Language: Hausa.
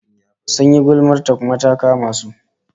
Sun yi gulmar ta, kuma ta kama su